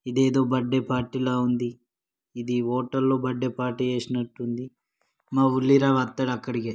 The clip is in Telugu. ఇదేదో బర్త్డే పార్టీ లా ఉంది.. ఇది హోటల్ లో బర్త్డే పార్టీ చేసేనట్టు ఉంది.. మా ఉల్లిరావ్ అత్తడు అక్కడికే